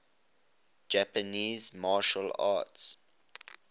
japanese martial arts